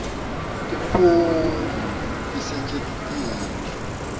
tiphumuti tisetjentiswe